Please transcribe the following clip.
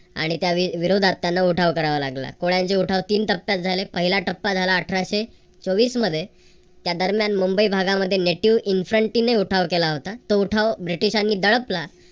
आणि त्या वि विरोधात त्यांना उठाव करावा लागला. कोळ्यांचे उठाव तीन टप्प्यात झाले. पहिला टप्पा झाला अठराशे चौवीस मध्ये त्यादरम्यान मुंबई भागामध्ये native infancy ने उठाव केला होता. तो उठाव ब्रिटिशांनी दळपला.